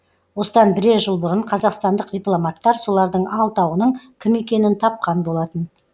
осыдан бірер жыл бұрын қазақстандық дипломаттар солардың алтауының кім екенін тапқан болатын